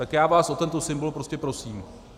Tak já vás o tento symbol prostě prosím.